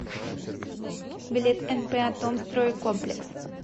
билет нп атомстройкомплекс